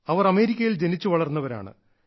അവർ അമേരിക്കയിൽ ജനിച്ചുവളർന്നവരാണ്